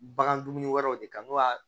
Bagan dumuni wɛrɛw de kan